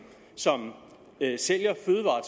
som sælger